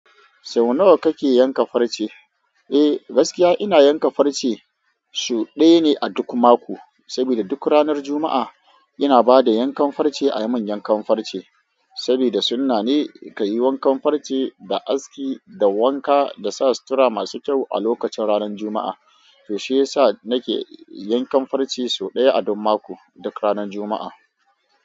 Sau nawa kake yanka farce? Eh, gaskiya ina yanka farce sau ɗaya ne a duk mako. Saboda duk ranar Juma'a ina ba da yankan farce a manyan kamfarce, saboda sunna ne ka yi wankan farce da aski da wanka da sa sutura masu kyau a lokacin ranar juma'a. To shiyasa nake yankan farce sau ɗaya a duk mako, duk ranar juma'a.